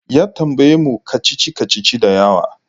Ya tambaye mu kacici-kacici da yawa.